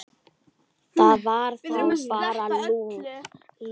Það var þá bara Lúlli.